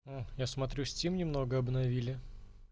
я смотрю стим немного обновили